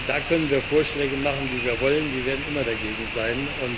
Da können wir Vorschläge machen, wie wir wollen, die werden immer dagegen sein.